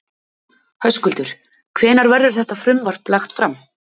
Höskuldur, hvenær verður þetta frumvarp lagt fram?